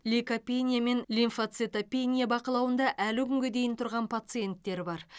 лейкопения мен лимфоцитопения бақылауында әлі күнге дейін тұрған пациенттер бар